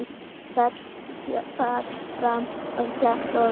Féll fram af kletti og lést